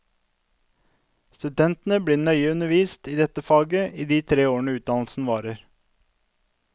Studentene blir nøye undervist i dette faget i de tre årene utdannelsen varer.